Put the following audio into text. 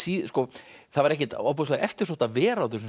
það var ekkert ofboðslega eftirsótt að vera á þessum